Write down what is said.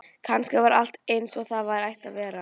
Kannski var allt einsog því var ætlað að vera.